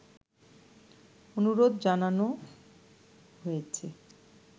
অনুরোধ জানানো হয়েছে